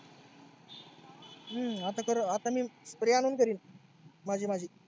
हम्म आता करण आता मी spray आणून करीन माझी माझी.